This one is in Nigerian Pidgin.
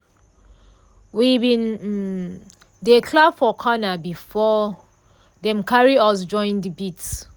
we bin um dey clap for corner before dem carry us join de beat.